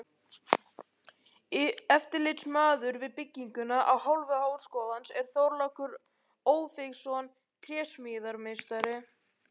Eftirlitsmaður við bygginguna af hálfu háskólans er Þorlákur Ófeigsson trésmíðameistari.